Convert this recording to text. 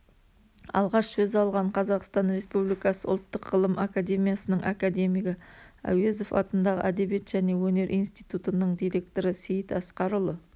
алғаш сөз алған қазақстан республикасы ұлттық ғылым академиясының академигі әуезов атындағы әдебиет және өнер институтының директоры сейіт асқарұлы